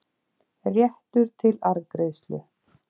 réttur til arðgreiðslu.